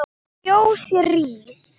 Fjós rís